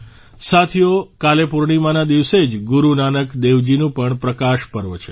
સાથીઓ કાલે પૂર્ણિમાના દિવસે જ ગુરુ નાનક દેવજીનું પણ પ્રકાશ પર્વ છે